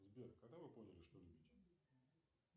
сбер когда вы поняли что любите